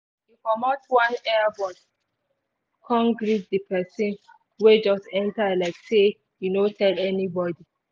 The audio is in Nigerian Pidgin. e comot one earbud cone greet the person wey just enter like say e no tell anybody